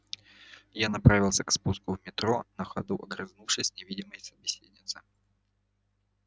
я направился к спуску в метро на ходу огрызнувшись невидимой собеседнице